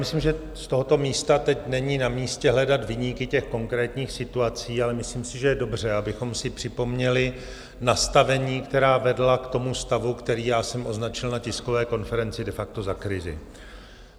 Myslím, že z tohoto místa teď není na místě hledat viníky těch konkrétních situací, ale myslím si, že je dobře, abychom si připomněli nastavení, která vedla k tomu stavu, který já jsem označil na tiskové konferenci de facto za krizi.